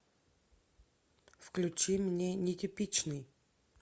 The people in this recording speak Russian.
включи мне нетипичный